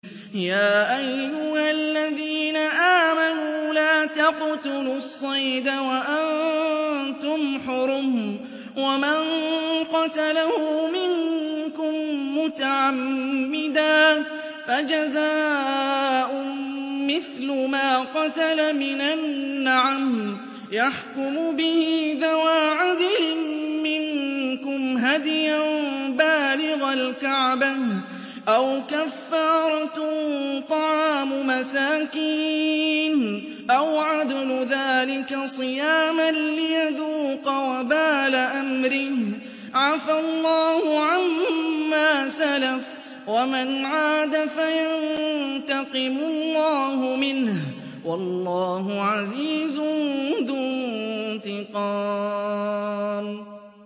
يَا أَيُّهَا الَّذِينَ آمَنُوا لَا تَقْتُلُوا الصَّيْدَ وَأَنتُمْ حُرُمٌ ۚ وَمَن قَتَلَهُ مِنكُم مُّتَعَمِّدًا فَجَزَاءٌ مِّثْلُ مَا قَتَلَ مِنَ النَّعَمِ يَحْكُمُ بِهِ ذَوَا عَدْلٍ مِّنكُمْ هَدْيًا بَالِغَ الْكَعْبَةِ أَوْ كَفَّارَةٌ طَعَامُ مَسَاكِينَ أَوْ عَدْلُ ذَٰلِكَ صِيَامًا لِّيَذُوقَ وَبَالَ أَمْرِهِ ۗ عَفَا اللَّهُ عَمَّا سَلَفَ ۚ وَمَنْ عَادَ فَيَنتَقِمُ اللَّهُ مِنْهُ ۗ وَاللَّهُ عَزِيزٌ ذُو انتِقَامٍ